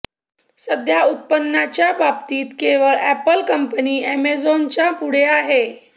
सध्या उत्पन्नाच्या बाबतीत केवळ अॅपल कंपनी अॅमेझॉनच्या पुढे आहे